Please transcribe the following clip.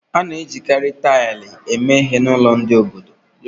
A na-ejikarị taịlị ala eme ihe n'ụlọ ndị obodo